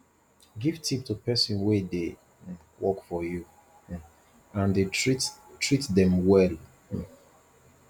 give tip to persin wey de um work for you um and dey treat treat them well um